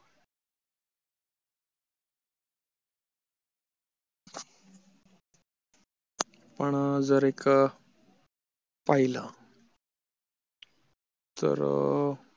आपण जर एक पाहिलं तर